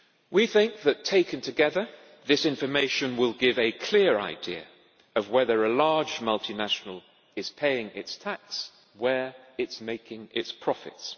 We think that, taken together, this information will give a clear idea of whether a large multinational is paying its tax where it makes its profits.